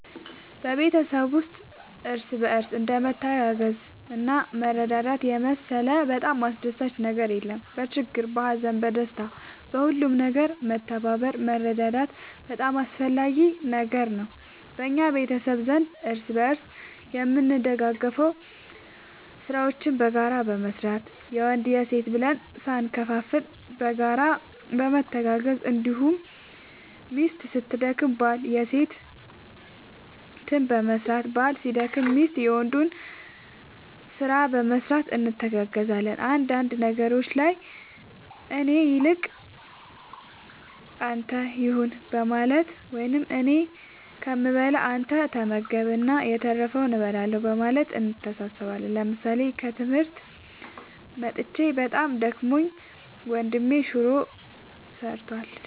በቤተሰብ ውስጥ እርስ በርስ እንደ መተጋገዝና መረዳዳት የመሰለ በጣም አስደሳች ነገር የለም በችግር በሀዘን በደስታ በሁሉም ነገር መተባበር መረዳዳት በጣም አስፈላጊ ነገር ነው በእኛ ቤተሰብ ዘንድ እርስ በርስ የምንደጋገፈው ስራዎችን በጋራ በመስራት የወንድ የሴት ብለን ሳንከፋፈል በጋራ በመተጋገዝ እንዲሁም ሚስት ስትደክም ባል የሴትን በመስራት ባል ሲደክም ሚስት የወንዱን ስራ በመስራት እንተጋገዛለን አንዳንድ ነገሮች ላይ ከእኔ ይልቅ ለአንተ ይሁን በማለት ወይም እኔ ከምበላ አንተ ተመገብ እና የተረፈውን እበላለሁ በማለት እንተሳሰባለን ምሳሌ ከትምህርት መጥቼ በጣም ደክሞኝ ወንድሜ ሹሮ ሰርቷል።